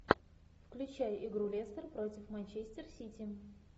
включай игру лестер против манчестер сити